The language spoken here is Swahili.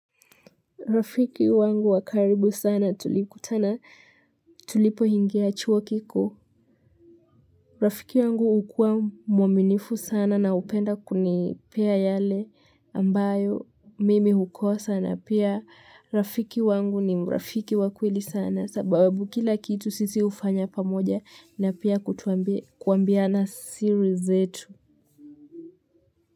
Rafiki wangu wakaribu sana tulikutana tulipoingia chuo kikuu. Rafiki wangu ukuwa mwaminifu sana na upenda kunipea yale ambayo mimi hukosa na pia. Rafiki wangu ni mrafiki wakweli sana sababu kila kitu sisi ufanya pamoja na pia kuambiana siri zetu.